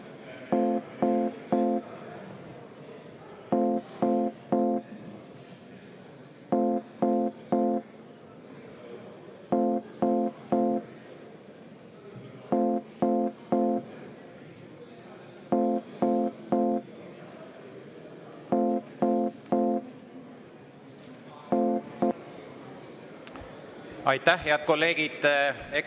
Aitäh, head kolleegid!